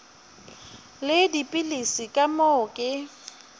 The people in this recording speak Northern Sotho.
le dipilisi ka moo ke